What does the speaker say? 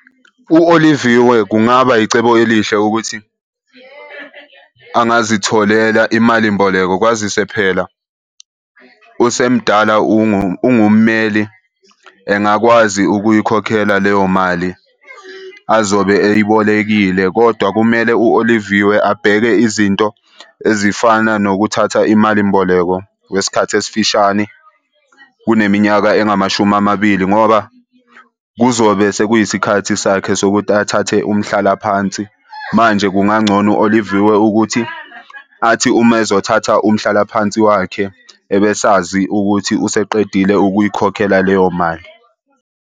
U-Oliviwe kungaba icebo elihle ukuthi angazitholela imali mboleko kwazise phela usemdala ungummeli. Engakwazi ukuyikhokhela leyo mali azobe eyibolekile kodwa kumele u-Oliviwe abheke izinto ezifana nokuthatha imali mboleko kwesikhathi esifishane kuneminyaka engamashumi amabili ngoba kuzobe sekuyisikhathi sakhe sokuthi athathe umhlalaphansi. Manje kungangcono u-Oliviwe ukuthi athi uma ezothatha umhlalaphansi wakhe ebesazi ukuthi useqedile ukuyikhokhela leyo mali.